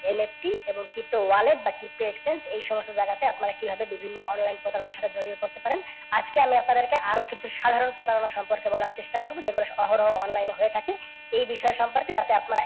LFT এবং pto wallet বা pto exchange এই সমস্ত জাইগাতে আপনারা কিভাবে বিভিন্ন online প্রতারণার সাথে জরিয়ে পরতে পারেন, আজকে আমি আপনাদেরকে আরও কিছু সাধারণ প্রতারণার সম্পর্কে বলার চেষ্টা করবো যেগুলো অহরহ online এ হয়ে থাকে এই বিষয়ে সম্পর্কে যাতে আপনারা